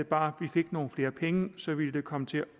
bare vi fik nogle flere penge så ville det komme til